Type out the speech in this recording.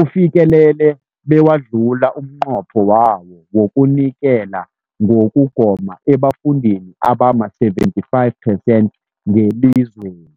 ufikelele bewadlula umnqopho wawo wokunikela ngokugoma ebafundini abama-75 phesenthi ngelizweni.